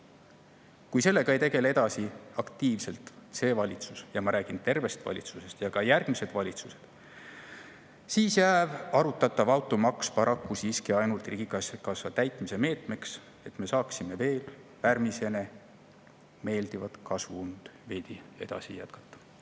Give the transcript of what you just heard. Kui sellega ei tegele edasi aktiivselt see valitsus – ja ma räägin tervest valitsusest – ja ka järgmised valitsused, siis jääb arutatav automaks paraku siiski ainult riigikassa täitmise meetmeks, et me saaksime veel pärmiseene meeldivat kasvuund veidi edasi jätkata.